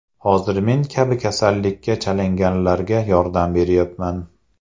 Hozir men kabi kasallikka chalinganlarga yordam beryapman.